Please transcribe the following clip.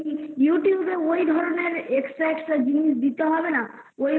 Youtbe এ ওইধরণের extra extra জিনিস দিতে হবে না ঐগুলোর